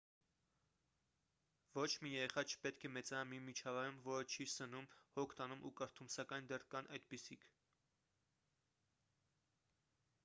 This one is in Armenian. ոչ մի երեխա չպետք է մեծանա մի միջավայրում որը չի սնում հոգ տանում ու կրթում սակայն դեռ կան այդպիսիք